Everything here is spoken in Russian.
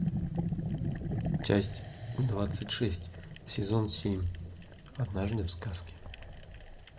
часть двадцать шесть сезон семь однажды в сказке